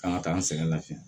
Kan ka taa n sɛgɛn lafiya